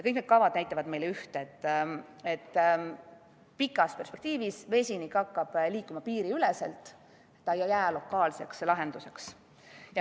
Kõik need kavad näitavad meile üht: pikas perspektiivis hakkab vesinik liikuma piiriüleselt, ta ei jää lokaalseks lahenduseks.